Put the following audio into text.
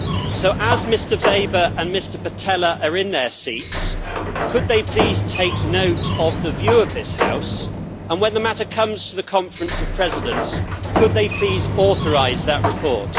So, as Mr Weber and Mr Pittella are in their seats, could they please take note of the view of this House and, when the matter comes to the Conference of Presidents, could they please authorise that report?